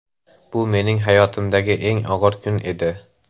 Bu mening hayotimdagi eng og‘ir kun edi.